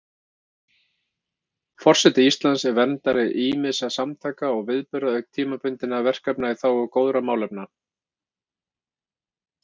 Forseti Íslands er verndari ýmissa samtaka og viðburða auk tímabundinna verkefna í þágu góðra málefna.